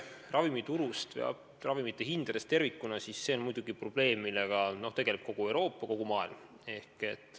Ravimiturg ja ravimite hinnad tervikuna on muidugi probleem, millega tegeleb kogu Euroopa, kogu maailm.